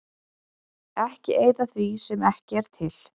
Ekki eyða því sem ekki er til.